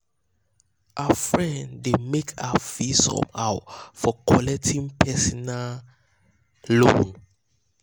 her friends um dey make her feel somehow for collecting um personal um loan.